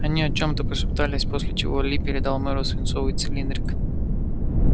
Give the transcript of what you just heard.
они о чем-то пошептались после чего ли передал мэру свинцовый цилиндрик